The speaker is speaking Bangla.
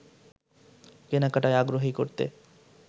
কেনাকাটায় আগ্রহী করতে